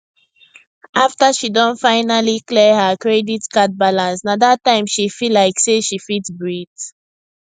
after she don finally clear her credit card balance nah that time she feel like say she fit breath